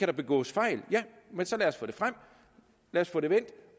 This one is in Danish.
begås fejl ja men så lad os få det frem lad os få det vendt